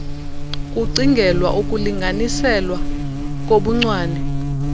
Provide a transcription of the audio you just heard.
kucingelwa ukulinganiselwa kobuncwane